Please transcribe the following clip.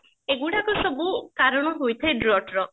ଏଗୁଡାକ ସବୁ କାରଣ ହେଇଥାଏ Drought ର